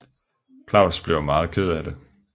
Claus bliver meget ked af det